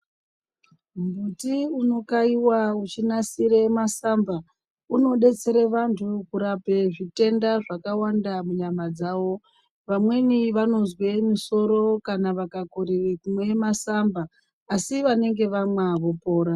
Muti unokaiwe uchinasire masamba unodetsere vantu kurape zvitenda zvakawanda munyama dzavo. Vamweni vanozwe musoro kana vakakorere kumwe masamba, asi vanenge vamwa vopora.